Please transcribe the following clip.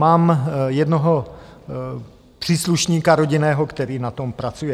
Mám jednoho příslušníka rodinného, který na tom pracuje.